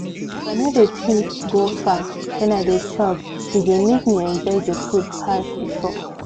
as i no de think go far when i dey chop e dey make me enjoy the food pass before